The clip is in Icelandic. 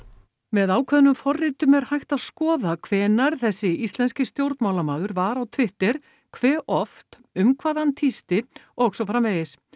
með ákveðnum forritum er hægt að skoða hvenær þessi íslenski stjórnmálamaður var á Twitter hve oft um hvað hann tísti og svo framvegis